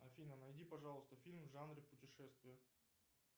афина найди пожалуйста фильм в жанре путешествия